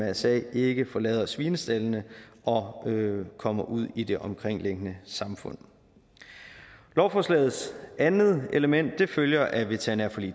mrsa ikke forlader svinestaldene og kommer ud i det omkringliggende samfund lovforslagets andet element følger af veterinærforlig